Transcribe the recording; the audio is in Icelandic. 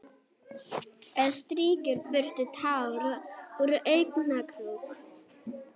Strýkur burtu tár úr augnakrók.